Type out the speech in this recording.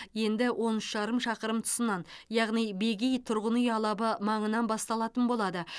енді он үш жарым шақырым тұсынан яғни бегей тұрғын үй алабы маңынан басталатын болады